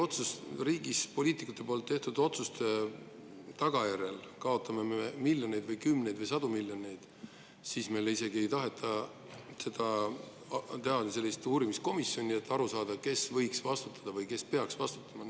Kui me riigis poliitikute tehtud otsuste tagajärjel kaotame miljoneid või kümneid või sadu miljoneid, siis meil isegi ei taheta teha sellist uurimiskomisjoni, et, kes võiks vastutada või kes peaks vastutama.